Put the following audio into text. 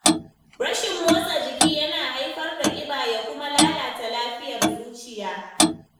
Rashin motsa jiki yana haifar da ƙiba ya kuma lalata lafiyar zuciya.